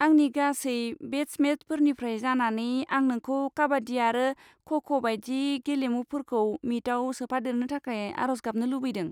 आंनि गासै बेच मेटफोरनिफ्राय जानानै, आं नोंखौ काबाद्दि आरो ख' ख' बायदि गेलेमुफोरखौ मिटआव सोफादेरनो थाखाय आरज गाबनो लुगैदों।